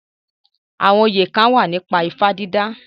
Àwọn oyè kán wà nípa ifá dídà